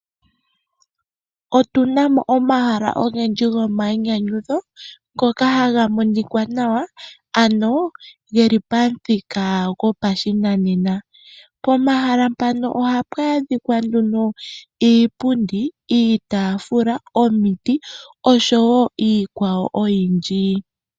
Otunamo omahala ogendji go mayinyanyudho ngoka haga monika nawa, geli pamuthika go pashinanena, pomahala mpano ohapu adhika nduno iipundi, iitaafula, omiti oshowo iikwawo oyindji.